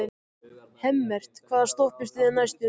Hemmert, hvaða stoppistöð er næst mér?